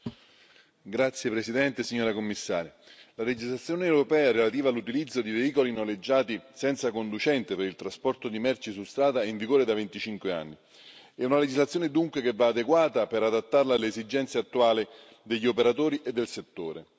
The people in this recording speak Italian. Signora Presidente, onorevoli colleghi, signora Commissaria, la legislazione europea relativa all'utilizzo di veicoli noleggiati senza conducente per il trasporto di merci su strada è in vigore da 25 anni. È una legislazione, dunque, che va adeguata per adattarla alle esigenze attuali degli operatori e del settore.